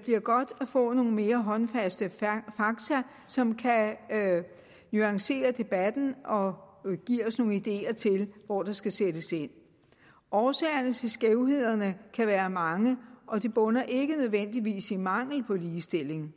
bliver godt at få nogle mere håndfaste fakta som kan nuancere debatten og give os nogle ideer til hvor der skal sættes ind årsagerne til skævhederne kan være mange og de bunder ikke nødvendigvis i mangel på ligestilling